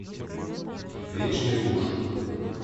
вечный муж